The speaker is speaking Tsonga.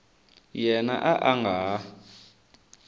yena a a nga ha